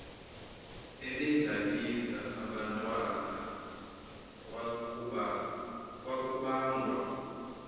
ebedlalisa abantwana kwakubangwa